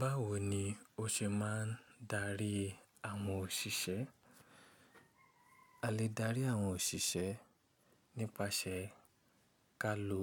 Báwo ni o ṣe máa ń darí àwọn òṣìṣẹ́? A lè dárí àwọn òṣìṣẹ́ nípasẹ̀ ká lò